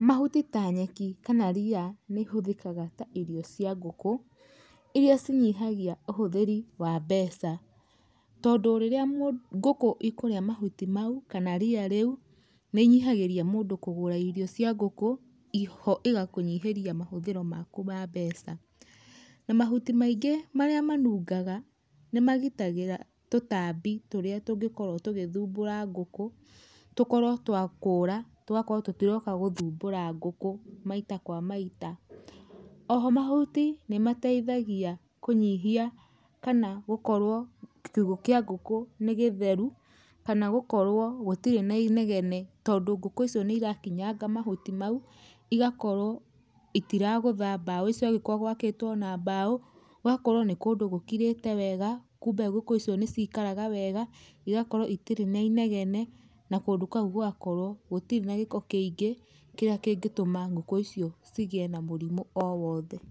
Mahuti ta nyeki, kana ria, nĩ ihũthĩkaga ta irio cia ngũkũ, iria ci nyihagia ũhũthĩri wa mbeca tondũ rĩrĩa ngũkũ ikũrĩa mahuti mau kana ria rĩu, nĩ inyihagĩria mũndũ kũgũra irio cia ngũkũ, igakũnyihĩria mahũthĩro maku ma mbeca. Na mahuti maingĩ marĩa manungaga nĩ magĩtagĩra tũtambi tũrĩa tũngĩkorwo tũgĩthumbũra ngũkũ, tũkorwo twakũũra tũgakorwo tũtĩroka guthũmbura ngũkũ maĩta kwa maita. Oho mahũtĩ nĩmateithagĩa kũnyihia kana gũkorwo kiũgũ kĩa ngũkũ nĩ gĩtherũ kana gũkorwo gutirĩ na inegene tondũ ngũkũ icĩo nĩ irakinyanga mahũtĩ mau igakorwo itaragũtha mbao icio angĩkorwo gwakĩtwo na mbao, gũgakorwo nĩ kũndũ gũkĩrĩte wega kũmbe ngũkũ icio nĩ cikaraga wega igakorwo itirĩ na inegene na kũndũ kũũ gũgakorwo gũtirĩ na gĩko kĩingĩ kĩrĩa kĩngĩtũma ngũkũ icio cigĩe na mũrimũ o wothe.